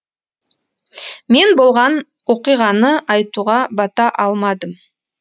мен болған оқиғаны айтуға бата алмадым